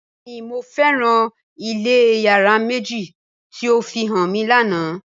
Bẹẹni Mo fẹran ilé yárà meji ti o fihan mi lana